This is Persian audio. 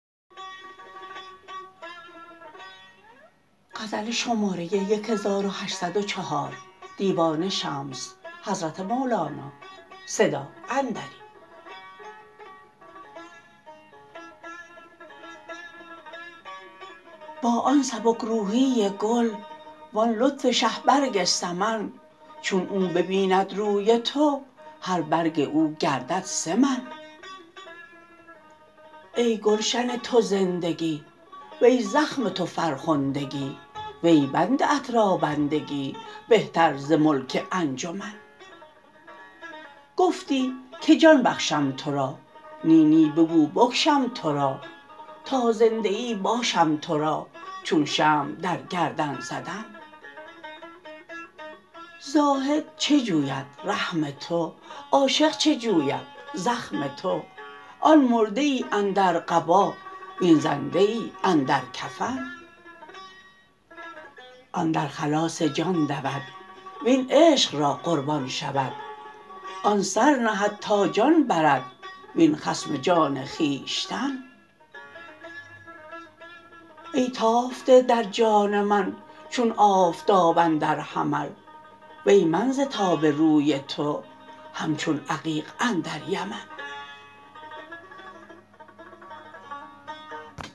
با آن سبک روحی گل وان لطف شه برگ سمن چون او ببیند روی تو هر برگ او گردد سه من ای گلشن تو زندگی وی زخم تو فرخندگی وی بنده ات را بندگی بهتر ز ملک انجمن گفتی که جان بخشم تو را نی نی بگو بکشم تو را تا زنده ای باشم تو را چون شمع در گردن زدن زاهد چه جوید رحم تو عاشق چه جوید زخم تو آن مرده ای اندر قبا وین زنده ای اندر کفن آن در خلاص جان دود وین عشق را قربان شود آن سر نهد تا جان برد وین خصم جان خویشتن ای تافته در جان من چون آفتاب اندر حمل وی من ز تاب روی تو همچون عقیق اندر یمن